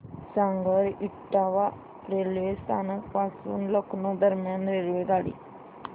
सांगा इटावा रेल्वे स्थानक पासून लखनौ दरम्यान रेल्वेगाडी